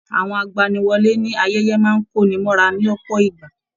Àwọn agbaniwọ́lè ní ayẹyẹ máa n konimọ́ra lọpọ ìgbà.